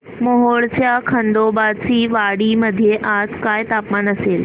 मोहोळच्या खंडोबाची वाडी मध्ये आज काय तापमान असेल